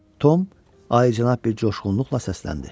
Tom alicənab bir coşqunluqla səsləndi.